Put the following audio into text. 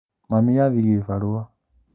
Mami athiĩ gĩbarua